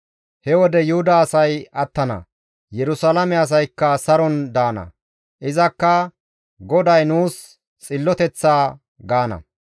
He wode Yuhuda asay attana; Yerusalaame asaykka saron daana; izakka, ‹GODAY Nuus Xilloteththa› gaana.